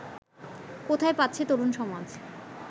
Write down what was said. কোথায় পাচ্ছে তরুণসমাজ